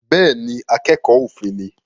Bẹ́ẹ̀ ni, akẹ́kọ̀ọ́ òfin ni